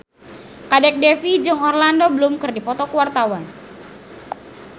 Kadek Devi jeung Orlando Bloom keur dipoto ku wartawan